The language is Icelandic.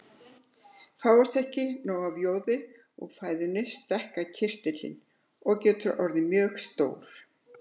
Fáist ekki nóg af joði úr fæðinu stækkar kirtillinn og getur orðið mjög stór.